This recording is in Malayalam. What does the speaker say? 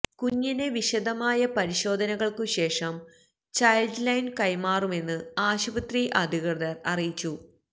കുഞ്ഞിനെ വിശദമായ പരിശോധനകള്ക്കുശേഷം ചൈല്ഡ് ലൈനു കൈമാറുമെന്നു ആശുപത്രി അധികൃതര് അറിയിച്ചു